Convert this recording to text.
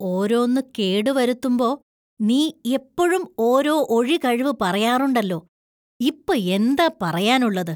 ഓരോന്ന് കേടുവരുത്തുമ്പോ നീ എപ്പോഴും ഒരോ ഒഴികഴിവു പറയാറുണ്ടല്ലോ. ഇപ്പോ എന്താ പറയാനുള്ളത് ?